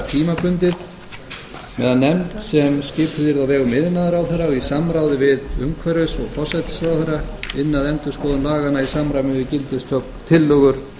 tímabundið meðan nefnd sem skipuð yrði á vegum iðnaðarráðherra og í samráði við umhverfis og forsætisráðherra ynni að endurskoðun laganna í samræmi við tillögur